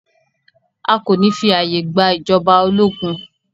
A kò ní fí ààyè gba ìjọba ológun!